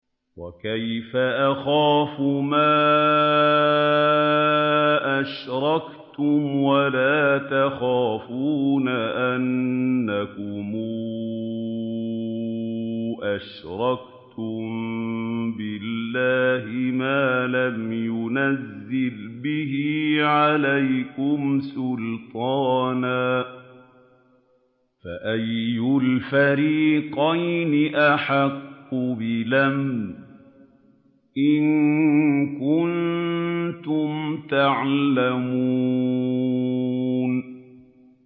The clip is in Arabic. وَكَيْفَ أَخَافُ مَا أَشْرَكْتُمْ وَلَا تَخَافُونَ أَنَّكُمْ أَشْرَكْتُم بِاللَّهِ مَا لَمْ يُنَزِّلْ بِهِ عَلَيْكُمْ سُلْطَانًا ۚ فَأَيُّ الْفَرِيقَيْنِ أَحَقُّ بِالْأَمْنِ ۖ إِن كُنتُمْ تَعْلَمُونَ